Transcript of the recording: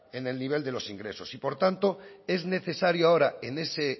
en el nivel de los ingresos por tanto es necesario ahora en ese